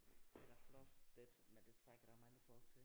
Det da flot det men det trækker da mange folk til